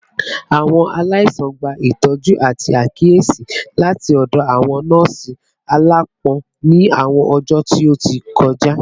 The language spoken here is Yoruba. Awọn alaisan gba itọju ati akiyesi lati ọdọ awọn nọọsi alaapọn ni awọn ọjọ ti o ti kọja